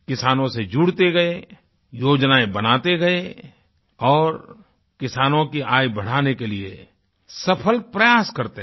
किसानों से जुड़ते गए योजनाएँ बनाते गए और किसानों की आय बढ़ाने के लिए सफल प्रयास करते रहे